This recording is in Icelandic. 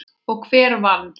Og hver vann?